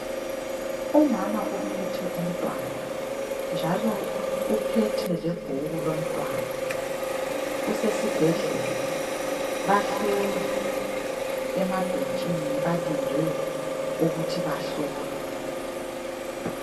Umama uphethe umntwana njalo uphethe lebhuku lomntwana. Usesibhedlela bahleli emabhentshini balinde ukuthi behlolwe.